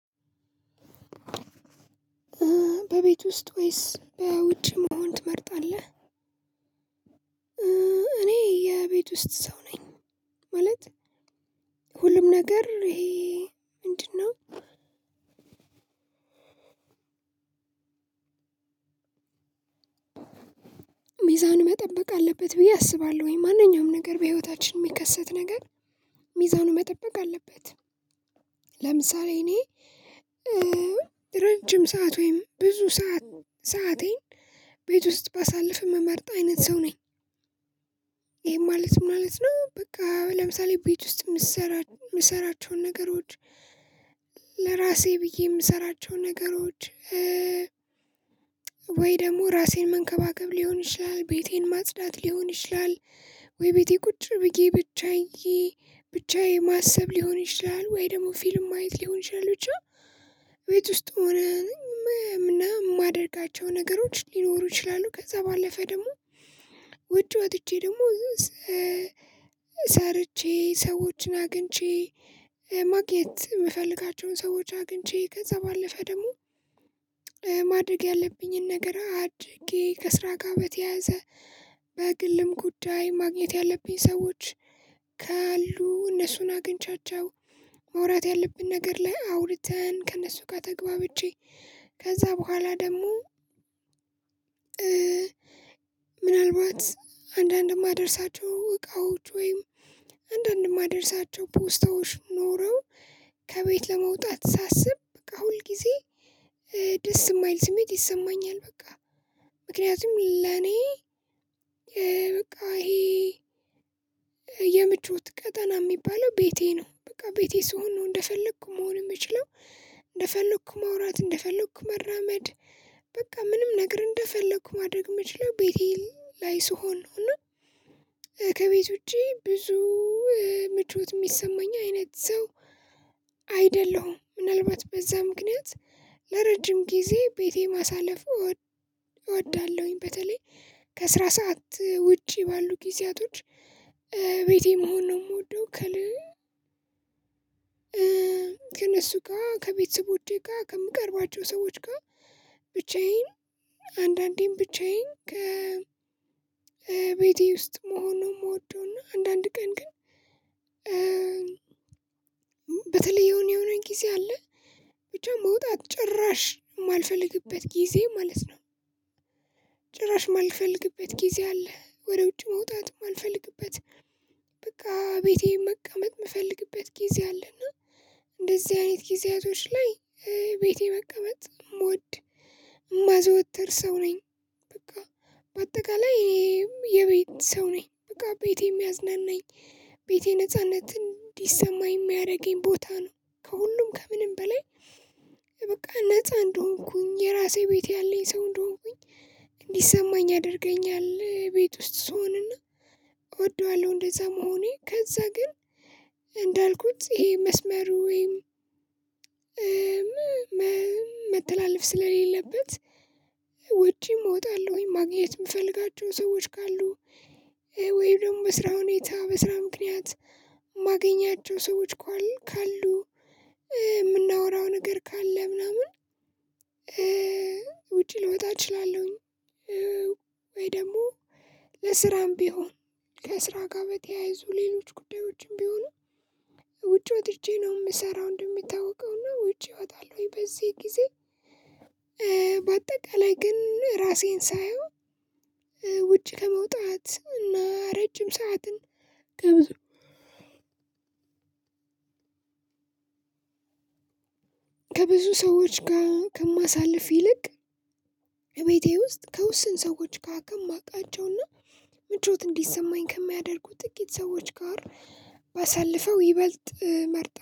በቤት ውስጥ ወይስ በውጭ መሆን ትመርጣለህ? እኔ የቤት ውስጥ ሰው ነኝ። ማለት ሁሉም ነገር ይሄ ምንድነው? ሚዛን መጠበቅ አለበት ብዬ አስባለሁኝ ማንኛውም ነገር በህይወታችን የሚከሰት ነገር ሚዛኑ መጠበቅ አለበት። ለምሳሌ እኔ ሰዓት ወይም ብዙ ሰዓት ሰአቴን ቤት ውስጥ ባሳልፍ ምመርጥ አይነት ሰው ነኝ። ይሄ ማለት ማለት ነው። በቃ ለምሳሌ ቤት ውስጥ የምሰራቸውን ነገሮች ለራሴ ብዬ የምሰራቸውን ነገሮች ወይ ደግሞ ራሴን መንከባከብ ሊሆን ይችላል። ቤቴን ማጽዳት ሊሆን ይችላል። ወይ ቤቴ ቁጭ ብዬ ብቻዬ ብቻዬ ማሰብ ሊሆን ይችላል ወይ ደግሞ ፊልም ማየት ሊሆን ይችላል ብቻ ቤት ውስጥ ሆነን ምናምን የማደርጋቸው ነገሮች ሊኖሩ ይችላሉ። ከዛ ባለፈ ደግሞ ውጭ ወጥቼ ደግሞ ሰርቼ ሰዎችን አግኝቼ ማግኘት የምፈልጋቸውን ሰዎች አግኝቼ ከዛ ባለፈ ደግሞ ማድረግ ያለብኝን ነገር አድርጌ ከስራ ጋር በተያያዘ በግልም ጉዳይ ማግኘት ያለብኝ ሰዎች። ካሉ እነሱን አግኝቻቸው መውራት ያለብን ነገር ላይ አውርተን ከእነሱ ጋር ተገባብቼ። ከዛ በኋላ ደግሞ ምናልባት አንዳንድ የማደርሳቸው እቃዎች ወይም አንዳንድ የማደርሳቸው ፖስታዎች ኖረው ከቤት ለመውጣት ሳስብ በቃ ሁል ጊዜ ደስ የማይል ስሜት ይሰማኛል። በቃ ምክንያቱም ለኔ በቃ ይሄ የምቾት ቀጠና የሚባለው ቤቴ ነው። በቃ ቤቴ ስሆን ነው እንደፈለኩ መሆን የምችለው። እንደፈለኩ ማውራት እንደፈለኩ መራመድ በቃ ምንም ነገር እንደፈለኩ ማድረግ የምችለው ቤቴ ላይ ስሆን ሆኖ ከቤት ውጪ ብዙ ምቾት የሚሰማኝ አይነት ሰው አይደለሁም። ምናልባት በዛ ምክንያት ለረጅም ጊዜ ቤቴ ማሳለፍ እወ እወዳለሁኝ። በተለይ ከስራ ሰዓት ውጪ ባሉ ጊዜያቶች ቤቴ መሆን ነው የምወደው። ከሌለ ከእነሱ ጋር ከቤተሰቦቼ ጋር ከምቀርባቸው ሰዎች ጋር ብቻዬን አንዳንዴም ብቻዬን ከቤቴ ውስጥ መሆን ነው የምወደው። እና አንዳንድ ቀን ግን በተለይ የሆነ የሆነኝ ጊዜ አለ ብቻ መውጣት ጭራሽ የማልፈልግበት ጊዜ ማለት ነው። ጭራሽ የማልፈልግበት ጊዜ አለ ወደ ውጭ መውጣት የማልፈልግበት። በቃ ቤቴን መቀመጥ የምፈልግበት ጊዜ አለና። እንደዚህ አይነት ጊዜያቶች ላይ ቤቴ መቀመጥ እሞድ ማዘወተር ሰው ነኝ። በቃ በአጠቃላይ ይሄም የቤት ሰው ነኝ። በቃ ቤቴ የሚያዝናናኝ ቤቴ ነጻነት እንዲሰማኝ የሚያደርገኝ ቦታ ነው። ከሁሉም ከምንም በላይ በቃ ነፃ እንደሆንኩኝ የራሴ ቤት ያለኝ ሰው እንደሆንኩኝ እንዲሰማኝ ያደርገኛል። ቤት ውስጥ ስሆንና እወደዋለሁ እንደዛ መሆኔ ከዛ ግን እንዳልኩት ይሄ መስመር ወይም ስለሌለበት ወጪም እወጣለሁኝ ማግኘት የምፈልጋቸው ሰዎች ካሉ። ወይም ደግሞ በስራ ሁኔታ በስራ ምክንያት የማገኛቸው ሰዎች ካሉ። የምናወራው ነገር ካለ ምናምን ውጪ ልወጣ እችላለሁኝ። ወይ ደግሞ ለስራም ቢሆን ከስራ ጋር በተያይዞ ሌሎች ጉዳዮችም ቢሆኑ ውጪ ወጥቼ ነው የምሰራው። እንደሚታወቀውና ውጪ ወጣለሁኝ በዚህ ጊዜ። በአጠቃላይ ግን ራሴን ሳየው ውጭ ከመውጣት እና ረጅም ሰዓትን ከብዙ ከብዙ ሰዎች ጋር ከማሳልፍ ይልቅ ከቤቴ ውስጥ ከውስን ሰዎች ጋ ከማቃቸውና ምቾት እንዲሰማኝ ከሚያደርጉት ጥቂት ሰዎች ጋር ባሳልፈው ይበልጥ መርጠው